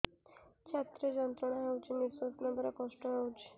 ଛାତି ରେ ଯନ୍ତ୍ରଣା ହେଉଛି ନିଶ୍ଵାସ ନେବାର କଷ୍ଟ ହେଉଛି